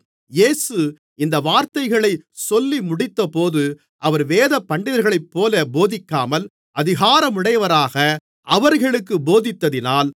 இயேசு இந்த வார்த்தைகளைச் சொல்லிமுடித்தபோது அவர் வேதபண்டிதர்களைப்போல போதிக்காமல் அதிகாரமுடையவராக அவர்களுக்குப் போதித்ததினால்